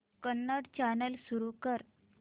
Kannada channel सुरू कर